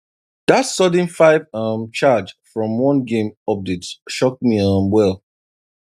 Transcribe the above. that sudden five um charge from one game update shock me um well